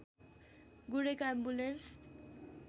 गुडेका ambulance